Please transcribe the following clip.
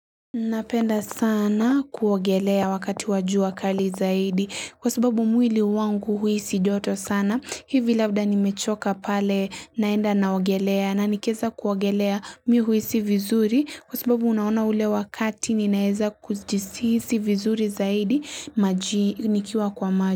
Napenda sana kuogelea wakati wajua kali zaidi kwa sababu mwili wangu huisi joto sana hivi labda nimechoka pale naenda naogelea na nikeza kuogelea mihu huisi vizuri kwa sababu unaona ule wakati ninaeza kujisi vizuri zaidi maji nikiwa kwa maju.